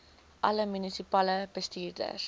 alle munisipale bestuurders